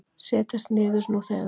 Setjist niður nú þegar